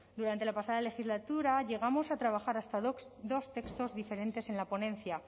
durante la pasada legislatura llegamos a trabajar hasta dos textos diferentes en la ponencia